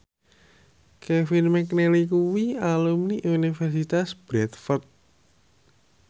Kevin McNally kuwi alumni Universitas Bradford